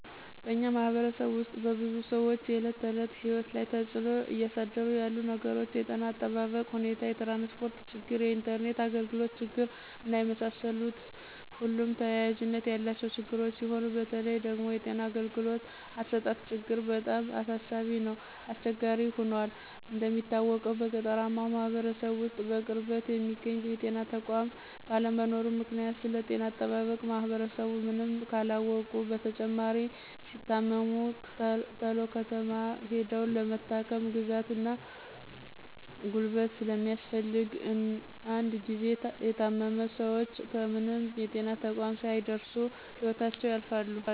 በእኛ ማህበረሰብ ውስጥ በብዙ ሰዎች የእለት ተዕለት ህይወት ላይ ተፅዕኖ እያሳደሩ ያሉት ነገሮች የጤና እጠባበቅ ሁኔታ፣ የትራንስፖርት ችግር፣ የኢንተርኔት አግልግሎት ችግር እና የመሳሰሉት ሁሉም ተያያዥነት ያላቸው ችግሮች ሲሆኑ በተለይ ደግሞ የጤና አገልግሎት አሰጣጥ ችግር በጣም አሳሳቢ እና አስቸጋሪ ሁኗል። እንደሚታወቀው በገጠራማው ማህበረሰብ ውስጥ በቅርበት የሚገኝ የጤና ተቋም ባለመኖሩ ምክንያት ስለጤና አጠባበቅ ማህበረሰቡ ምንም ካለማወቁ በተጨማሪ ሲታመሙ ተሎ ከተማ ሂደው ለመታከም ግዛት እና ጉልበት ስለሚፈልግ እንድ ጊዚ የታመሙ ሰወች ከምንም የጤና ተቋም ሳይደርሱ ህይወታቸው ያልፋል።